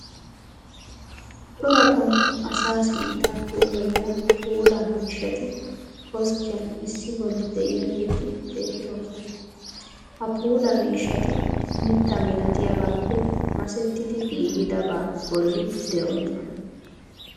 Cora qommo asaa sinttaa puulayiya puulaa miishshati koskkiyan issi bolli de'iyageeti beettoosona. Ha puulaa miishshati mitta milatiyabaappe masettidi giigidabaa bolli de'oosona.